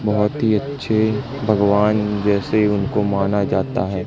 बहोत ही अच्छे भगवान जैसे उनको माना जाता है।